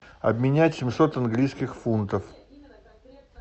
обменять семьсот английских фунтов